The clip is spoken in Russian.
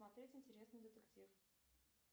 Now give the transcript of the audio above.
смотреть интересный детектив